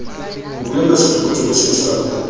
ho buella setlokotsebe see sa